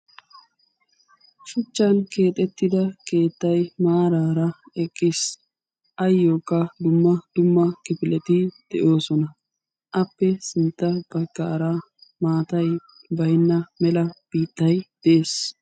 shuchchan keexxetida keettay maarara beettees, ayyokka dumma dumma lifileti de'oosona. appe sintta baggaara maatay baynna mela biittay de'ees,